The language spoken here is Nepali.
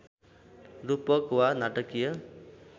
रूपक वा नाटकीय